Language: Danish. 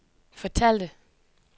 fortalte